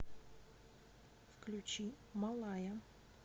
включи малая